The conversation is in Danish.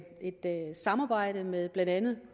samarbejde med blandt andet